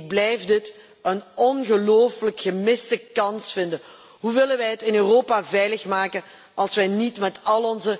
Ik blijf dit een ongelofelijk gemiste kans vinden. Hoe willen wij het in Europa veilig maken als wij niet met al onze